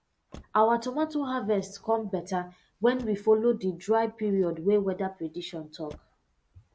our tomato harvest come beta when we follow di dry period wey weather prediction talk